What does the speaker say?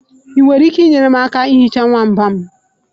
Ị nwere ike inyere m aka ihicha nwamba m?